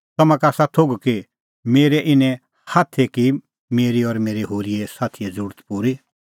तम्हां का आसा थोघ कि मेरै इनै हाथै की मेरी और मेरै होरी साथीए ज़रुरत पूरी